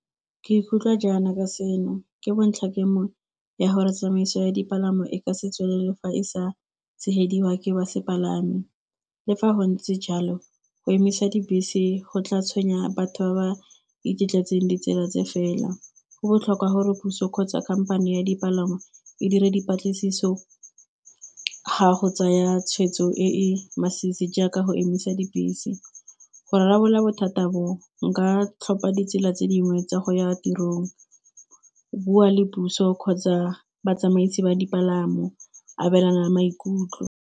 Ke ikutlwa jaana ka seno ke bontlha kemo ya gore tsamaiso ya dipalamo e ka se tswelele fa e sa tshegediwa ke ba sepalamo, le fa go ntse jalo go emisa dibese go tla tshwenya batho ba ba iketletseng ditsela tse fela. Go botlhokwa gore puso kgotsa khamphane ya dipalangwa e dire dipatlisiso ga go tsaya tshweetso e masisi jaaka go emisa dibese. Go rarabolola bothata bo nka tlhopha ditsela tse dingwe tsa go ya tirong, bua le puso kgotsa batsamaisi ba dipalamo, abelana maikutlo.